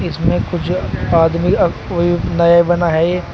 इसमें कुछ आदमी अह कोई नए बना है।